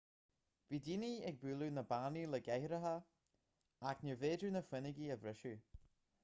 bhí daoine ag bualadh na bpánaí le cathaoireacha ach níorbh fhéidir na fuinneoga a bhriseadh